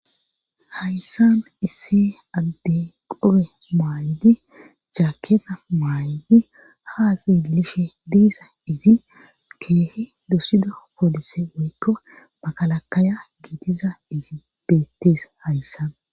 Hayssan issi addey qobe mayidi jaaketta maayidi haaxeelishe de7izayssi keehi dpsido poolise woykko makalakkaya gidiza izi beettees hayssan